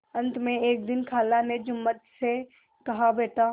अंत में एक दिन खाला ने जुम्मन से कहाबेटा